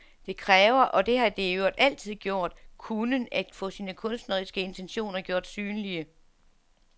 Det kræver, og det har det i øvrigt altid gjort, kunnen, at få sine kunstneriske intentioner gjort synlige.